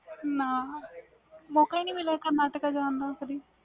ਨਾ ਮੌਕਾ ਹੀ ਨਹੀਂ ਮਿਲਿਆ ਕਰਨਾਟਕਾ ਜਾਨ ਦਾ